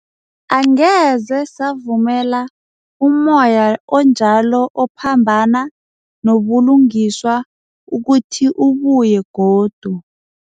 Angeze savumela ummoya onjalo ophambana nobulungiswa ukuthi ubuye godu.